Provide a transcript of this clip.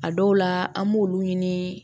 A dɔw la an b'olu ɲini